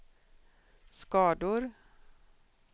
skador